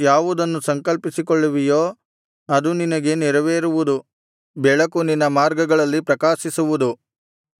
ಯಾವುದನ್ನು ಸಂಕಲ್ಪಿಸಿಕೊಳ್ಳುವಿಯೋ ಅದು ನಿನಗೆ ನೆರವೇರುವುದು ಬೆಳಕು ನಿನ್ನ ಮಾರ್ಗಗಳಲ್ಲಿ ಪ್ರಕಾಶಿಸುವುದು